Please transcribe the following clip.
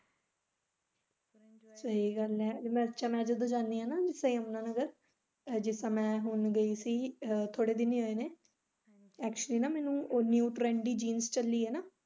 ਸਹੀ ਗੱਲ ਐ ਮੈਂ ਜਦੋਂ ਜਾਨੀ ਐ ਯਮੁਨਾ ਨਗਰ ਜਿਸ ਸਮੇਂ ਮੈਂ ਹੁਣ ਗਈ ਸੀ ਥੌੜੇ ਦਿਨ ਹੀ ਹੋਏ ਨੇ actually ਨਾ ਉਹ ਮੈਨੂੰ new trend ਦੀ jeans ਚੱਲੀ ਐ ਨਾ।